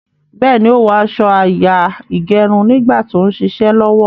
Béèni, ó wó aso àyà ìgẹrun nígbà tí ó ń ṣiṣẹ́ lọ́wọ́.